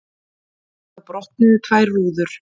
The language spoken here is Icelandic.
Þá brotnuðu tvær rúður.